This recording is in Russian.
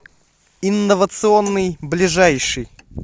инновационный ближайший